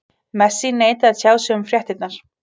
Messi neitaði að tjá sig um fréttirnar.